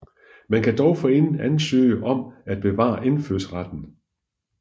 Man kan dog forinden ansøge om at bevare indfødsretten